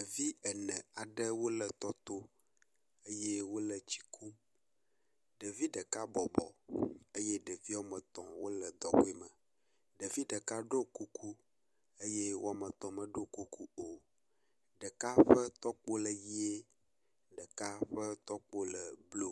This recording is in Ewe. Ɖevi ene aɖewo le tɔ to eye wole tsi kum. Ɖevi ɖeka bɔbɔ eye ɖevi woametɔ̃ wole dɔgoe me. Ɖevi ɖeka ɖo kuku eye woametɔ̃ meɖo kuku o. Ɖeka ƒe tɔkpo le ʋie, ɖeka ƒe tɔkpo le blɔ